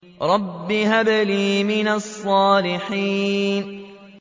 رَبِّ هَبْ لِي مِنَ الصَّالِحِينَ